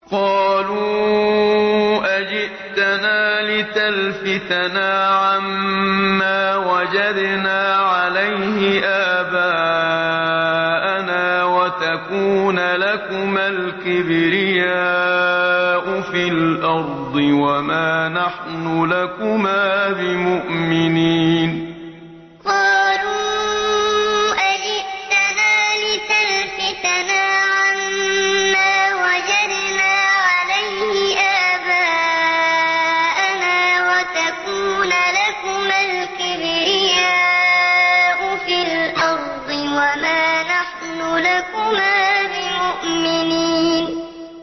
قَالُوا أَجِئْتَنَا لِتَلْفِتَنَا عَمَّا وَجَدْنَا عَلَيْهِ آبَاءَنَا وَتَكُونَ لَكُمَا الْكِبْرِيَاءُ فِي الْأَرْضِ وَمَا نَحْنُ لَكُمَا بِمُؤْمِنِينَ قَالُوا أَجِئْتَنَا لِتَلْفِتَنَا عَمَّا وَجَدْنَا عَلَيْهِ آبَاءَنَا وَتَكُونَ لَكُمَا الْكِبْرِيَاءُ فِي الْأَرْضِ وَمَا نَحْنُ لَكُمَا بِمُؤْمِنِينَ